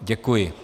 Děkuji.